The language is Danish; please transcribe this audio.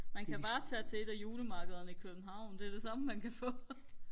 man kan bare tage til et af julemarkederne i København det er det samme man kan få